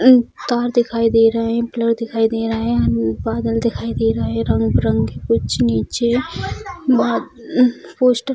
तार दिखाई दे रहे हैं कलर दिखाई दे रहा है बादल दिखाई दे रहे हैं रंग-बिरंग के कुछ नीचे बा पोस्टर --